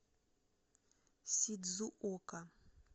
сидзуока